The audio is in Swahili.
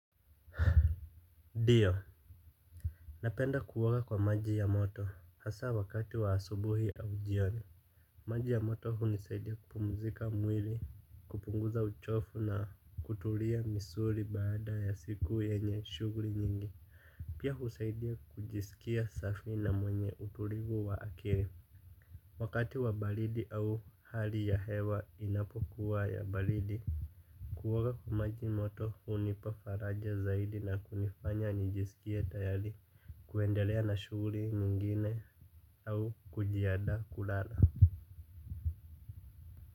Dio. Napenda kuoga kwa maji ya moto hasa wakati wa asubuhi au jioni. Maji ya moto hunisaidia kupumzika mwili, kupunguza uchofu na kutulia misuri baada ya siku yenye shuguri nyingi. Pia husaidia kujiskia safi na mwenye utulivu wa akiri. Wakati wa balidi au hali ya hewa inapokuwa ya balidi kuoga kwa maji moto hunipa faraja zaidi na kunifanya nijisikie tayari. Kuendelea na shughuli nyingine au kujiada kulala.